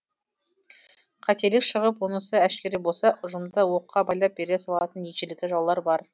қателік шығып онысы әшкере болса ұжымда оққа байлап бере салатын ежелгі жаулары бар